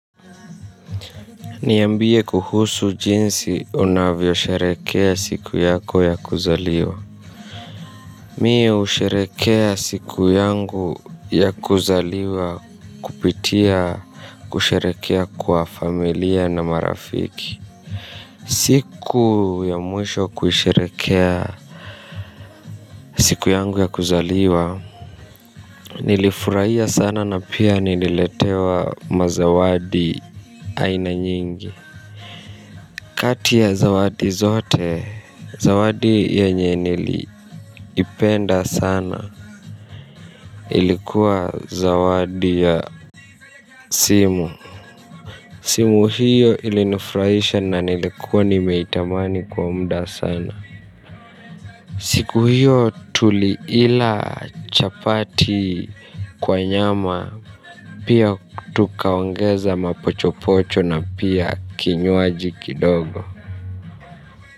Niambie kuhusu jinsi unavyo sherejekea siku yako ya kuzaliwa. Mimi husherehekea siku yangu ya kuzaliwa kupitia kusherehekea kwa familia na marafiki. Siku ya mwisho kusherehekea siku yangu ya kuzaliwa. Nilifurahia sana na pia nililetewa mazawadi aina nyingi. Kati ya zawadi zote zawadi yenye nilipenda sana ilikuwa zawadi ya simu. Simu hiyo ilinifurahisha na nilikuwa nimeitamani kwa muda sana. Siku hiyo tuli ila chapati kwa nyama pia tukaongeza mapochopocho na pia kinywaji kidogo.